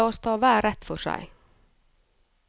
La oss ta hver rett for seg.